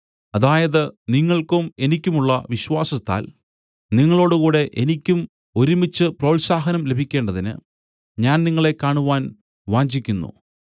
അതായത് നിങ്ങൾക്കും എനിക്കുമുള്ള വിശ്വാസത്താൽ നിങ്ങളോടുകൂടെ എനിക്കും ഒരുമിച്ച് പ്രോത്സാഹനം ലഭിക്കേണ്ടതിന് ഞാൻ നിങ്ങളെ കാണുവാൻ വാഞ്ചിക്കുന്നു